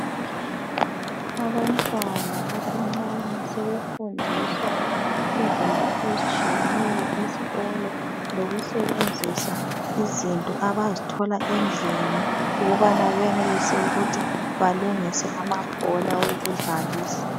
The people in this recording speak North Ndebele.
Abantwana abancane sebefundiswa izinto ezitshiyeneyo esikolo lokusebenzisa izinto abazithola endlini ukubana benelise ukuthi balungise amabhola okudlalisa